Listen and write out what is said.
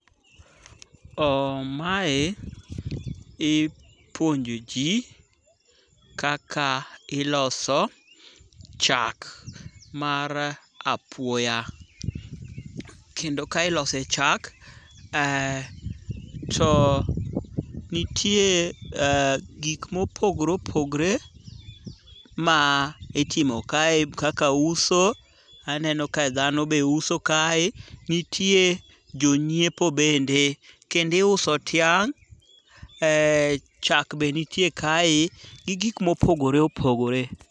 Mae ipuonjo ji kaka iloso chak mar apuoya. Kendo ka ilose chak to nitie gik mopogre opogre ma itimo kae kaka uso, aneno ka dhano be uso kae, nitie jonyiepo bende kendo iuso tiang', chak be nitie kae gi gik mopogore opogore.